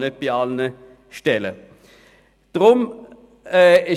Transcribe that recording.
Dies ist nicht bei allen Stellen möglich.